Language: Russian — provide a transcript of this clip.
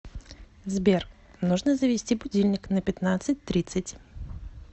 сбер нужно завести будильник на пятнадцать тридцать